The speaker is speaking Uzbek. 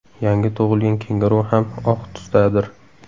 Yangi tug‘ilgan kenguru ham oq tusdadir.